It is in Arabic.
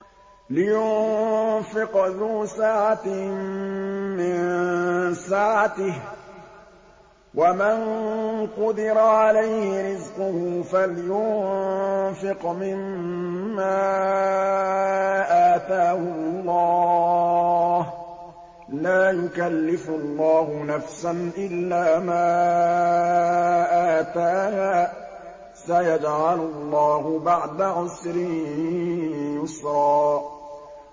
لِيُنفِقْ ذُو سَعَةٍ مِّن سَعَتِهِ ۖ وَمَن قُدِرَ عَلَيْهِ رِزْقُهُ فَلْيُنفِقْ مِمَّا آتَاهُ اللَّهُ ۚ لَا يُكَلِّفُ اللَّهُ نَفْسًا إِلَّا مَا آتَاهَا ۚ سَيَجْعَلُ اللَّهُ بَعْدَ عُسْرٍ يُسْرًا